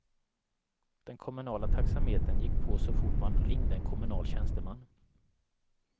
Den kommunala taxametern gick på så fort man ringde en kommunal tjänsteman.